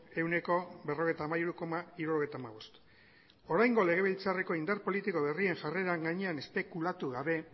ehuneko berrogeita hamairu koma hirurogeita hamabost oraingo legebiltzarreko indar politiko berrien jarreren gainean espekulatu gabe